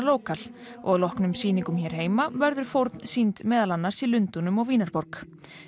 Lókal og að loknum sýningum hér heima verður fórn sýnd meðal annars í Lundúnum og Vínarborg